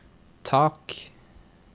tak